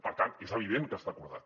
per tant és evident que està acordat